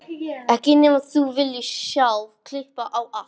Ekki nema þú viljir sjálf klippa á allt.